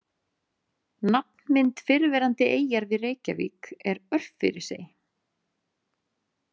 Nafnmynd fyrrverandi eyjar við Reykjavík er Örfirisey.